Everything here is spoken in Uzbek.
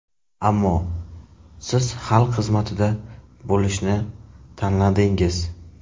Ammo siz xalq xizmatida bo‘lishni tanladingiz.